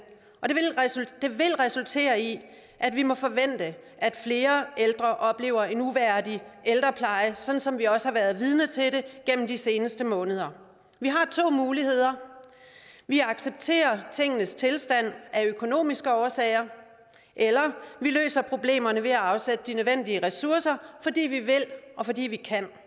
og det vil resultere i at vi må forvente at flere ældre oplever en uværdig ældrepleje sådan som vi også har været vidne til det gennem de seneste måneder vi har to muligheder vi accepterer tingenes tilstand af økonomiske årsager eller vi løser problemerne ved at afsætte de nødvendige ressourcer fordi vi vil og fordi vi kan